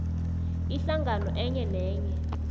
ihlangano enye nenye